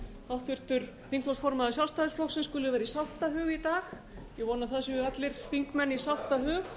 háttvirtur þingflokksformaður sjálfstæðisflokksins skuli vera í sáttahug í dag ég vona að það séu allir þingmenn í sáttahug